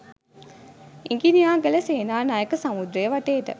ඉඟිනියාගල සේනානායක සමුද්‍රය වටේට